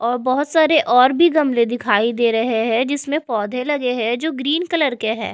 और बहुत सारे और भी गमले दिखाई दे रहे हैं जिसमें पौधे लगे हैं जो ग्रीन कलर के हैं।